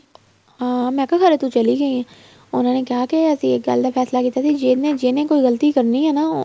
ਅਹ ਮੈਂ ਕਿਹਾ ਤੂੰ ਚੱਲੀ ਗਈ ਉਹਨਾ ਨੇ ਕਿਹਾ ਕੀ ਅਸੀਂ ਇੱਕ ਗੱਲ ਫ਼ੈਸਲਾ ਕੀਤਾ ਸੀ ਜਿਹਨੇ ਜਿਹਨੇ ਕੋਈ ਗ਼ਲਤੀ ਕਰਨੀ ਆ ਨਾ